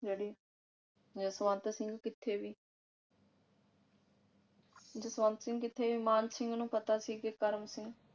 ਜਿਹੜੀ ਜਸਵੰਤ ਸਿੰਘ ਕਿਥੇ ਬੀ। ਜਸਵੰਤ ਸਿੰਘ ਕਿਥੇ ਮਾਣ ਸਿੰਘ ਨੂੰ ਪਤਾ ਸੀਕੇ ਕਰਮ ਸਿੰਘ